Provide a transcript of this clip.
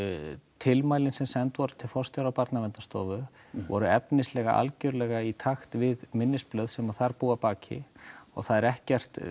tilmælin sem send voru til forstjóra Barnaverndarstofu voru efnislega algerlega í takt við minnisblöð sem þar búa að baki og það er ekkert